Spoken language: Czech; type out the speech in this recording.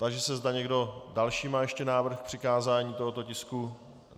Táži se, zda někdo další má ještě návrh k přikázání tohoto tisku.